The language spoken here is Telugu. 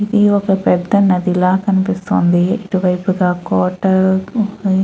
ఇది ఒక పెద్ద నది లా కనిపిస్తుంది. ఇటు వైపయిగా క్వార్టర్ అని --